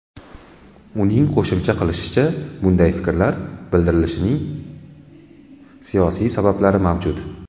Uning qo‘shimcha qilishicha, bunday fikrlar bildirilishining siyosiy sabablari mavjud.